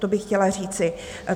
To bych chtěla říci.